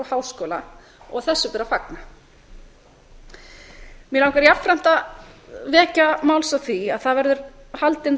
háskóla og þessu ber að fagna mig langar jafnframt að vekja máls á því að það verður haldin ráðstefna